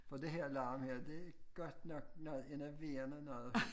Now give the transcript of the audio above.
For det her larm her det godt nok noget enerverende noget